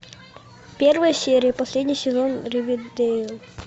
первая серия последний сезон ривердэйл